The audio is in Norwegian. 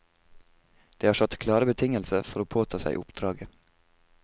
Det har satt klare betingelser for å påta seg oppdraget.